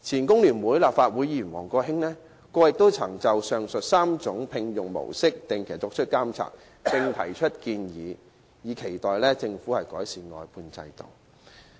工聯會前立法會議員王國興先生過去亦曾就上述3類聘用模式作出定期監察，並提出建議，以期政府改善外判制度。